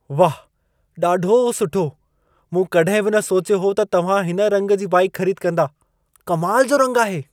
वाह, ॾाढो सुठो! मूं कॾहिं बि न सोचियो हो त तव्हां हिन रंग जी बाइकु ख़रीद कंदा। कमाल जो रंग आहे।